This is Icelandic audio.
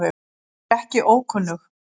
Hún var ekki ókunnug